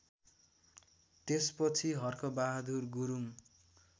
त्यसपछि हर्कबहादुर गुरुङ